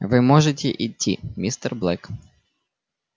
вы можете идти мистер блэк